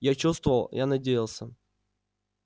я чувствовал я надеялся